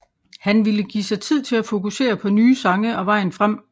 Han ville give sig tid til at fokusere på nye sange og vejen frem